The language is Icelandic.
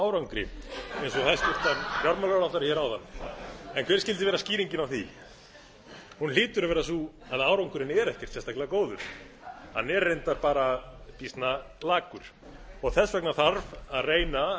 árangri eins og hæstvirtur fjármálaráðherra hér áðan en hver skyldi vera skýringin á því hún hlýtur að vera sú að árangurinn er ekkert sérstaklega góður hann er reyndar bara býsna lakur þess gera þarf að reyna